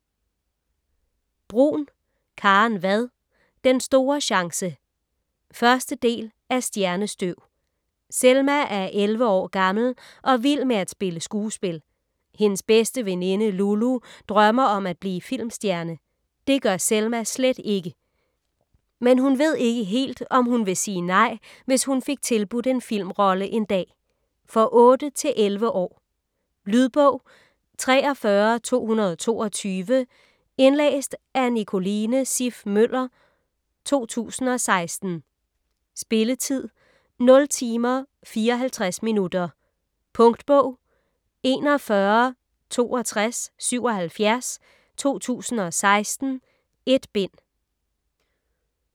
Bruun, Karen Vad: Den store chance 1. del af Stjernestøv. Selma er 11 år gammel og vild med at spille skuespil. Hendes bedste veninde Lulu drømmer om at blive filmstjerne. Det gør Selma slet ikke. Men hun ved ikke helt, om hun vil sige nej, hvis hun fik tilbudt en filmrolle en dag. For 8-11 år. Lydbog 43222 Indlæst af Nicoline Siff Møller, 2016. Spilletid: 0 timer, 54 minutter. Punktbog 416277 2016. 1 bind.